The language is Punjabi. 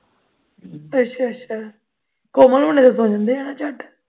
ਅੱਛਾ ਅੱਛਾ ਮੈਂ ਕਿਹਾ ਹੁਣੇ ਸੌਂ ਜਾਂਦੇ ਆ ਝੱਟ